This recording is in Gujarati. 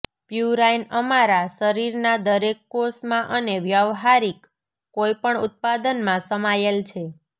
પ્યુરાઇન અમારા શરીરના દરેક કોષમાં અને વ્યવહારીક કોઈપણ ઉત્પાદનમાં સમાયેલ છે